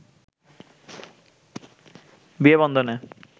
বিয়ে বন্ধনে